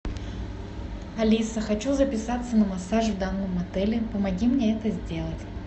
алиса хочу записаться на массаж в данном отеле помоги мне это сделать